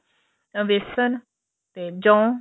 ਵੇਸਣ ਤੇ ਜੋੰ